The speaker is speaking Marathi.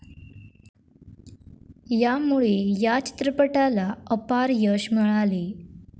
यामुळे या चित्रपटाला अपार यश मिळाले